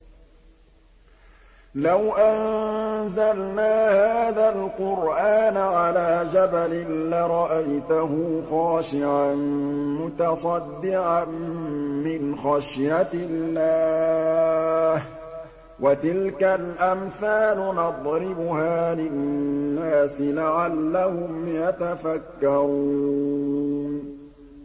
لَوْ أَنزَلْنَا هَٰذَا الْقُرْآنَ عَلَىٰ جَبَلٍ لَّرَأَيْتَهُ خَاشِعًا مُّتَصَدِّعًا مِّنْ خَشْيَةِ اللَّهِ ۚ وَتِلْكَ الْأَمْثَالُ نَضْرِبُهَا لِلنَّاسِ لَعَلَّهُمْ يَتَفَكَّرُونَ